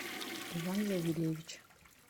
иван завелевич